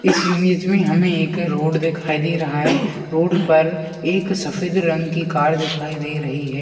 इस इमेज में हमें एक रोड दिखाई दे रहा है रोड पर एक सफेद रंग की कार दिखाई दे रही है।